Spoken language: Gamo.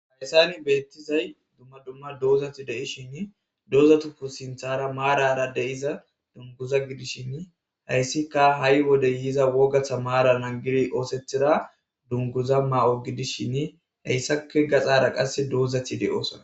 hadesani beettizay dumma dumma doozati de7ishin doozatuku sinthara maarara de7iza dunguza gidishshin hayssika ha7i wode yiza wogatha maara nangiri oosethida dunguza ma7o gidishin hayssake gaxara qasse doozati de7osana